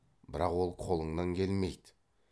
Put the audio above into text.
бірақ ол қолыңнан келмейді